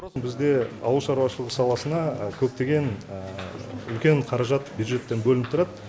бізде ауыл шаруашылығы саласына көптеген үлкен қаражат бюджеттен бөлініп тұрады